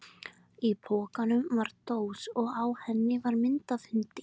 Í pokanum var dós og á henni var mynd af hundi.